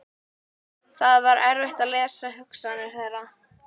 Það var erfitt að lesa hugsanir þeirra.